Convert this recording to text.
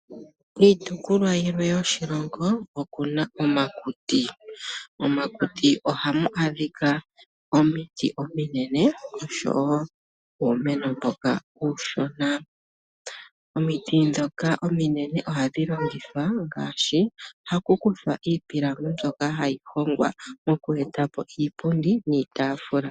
Iitopolwa yimwe yoshilongo oyina omaluti. Omakuti ohamu adhika omiti ominene oshowoo uumeno mboka uushona. Omiti ndhoka ominene ohamu hongwa iihongomwa ngaashi iipilangi yokundulukapo iipundi oshowoo iipilangi.